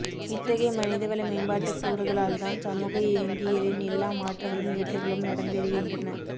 இத்தகைய மனிதவள மேம்பாட்டுக் கூறுகளால்தான் சமூக இயங்கியலின் எல்லா மாற்றங்களும் ஏற்றங்களும் நடந்தேறுகின்றன